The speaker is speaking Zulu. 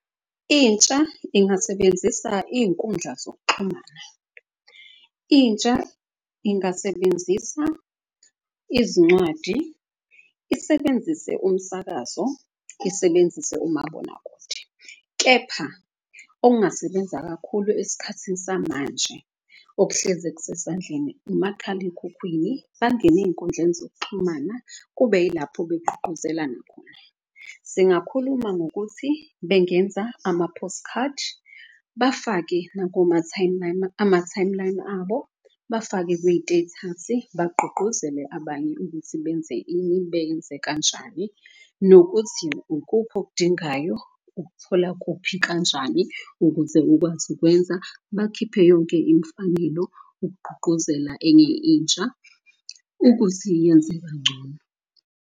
Intsha ingasebenzisa iyinkundla zokuxhumana, intsha ingasebenzisa izincwadi, isebenzise umsakazo, isebenzise umabonakude. Kepha okungasebenza kakhulu eskhathini samanje okuhleze kusesandleni umakhalekhukhwini. Bangene eyinkundleni zokuxhumana kube yilapho begqugquzelana khona. Singakhuluma ngokuthi bengenza ama-postcard bafake ama-timeline abo, bafake kuyitethasi bagqugquzele abanye ukuthi benze ini, beyenze kanjani nokuthi ukuphi okudingayo ukuthola kuphi kanjani. Ukuze ukwazi ukwenza bakhiphe yonke imfanelo ukugqugquzela enye intsha ukuthi yenze kangcono.